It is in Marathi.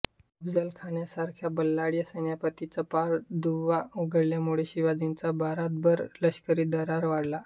अफजलखानासारख्या बलाढ्य सेनापतीचा पार धुव्वा उडवल्यामुळे शिवाजींचा भारतभर लष्करी दरारा वाढला